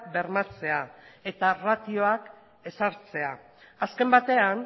bermatzea eta ratioak ezartzea azken batean